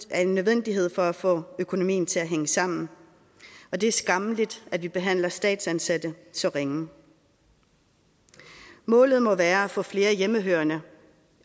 en nødvendighed for at få økonomien til at hænge sammen og det er skammeligt at vi behandler statsansatte så ringe målet må være at få flere hjemmehørende